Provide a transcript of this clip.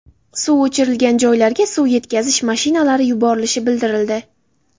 Suv o‘chirilgan joylarga suv yetkazish mashinalari yuborilishi bildirildi.